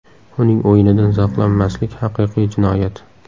Uning o‘yinidan zavqlanmaslik – haqiqiy jinoyat”.